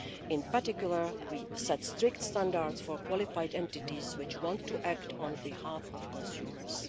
EU. In particular, we set strict standards for qualified entities which want to act on behalf of consumers.